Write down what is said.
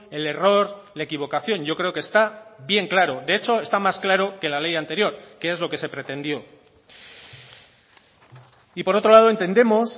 el error la equivocación yo creo que está bien claro de hecho está más claro que la ley anterior que es lo que se pretendió y por otro lado entendemos